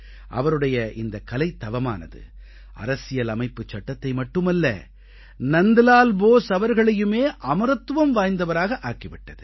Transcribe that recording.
அவருடைய இந்த கலைத் தவமானது அரசியலமைப்பை மட்டுமல்ல நந்த்நால் போஸ் அவர்களையுமே அமரத்துவம் வாய்ந்தவராக ஆக்கி விட்டது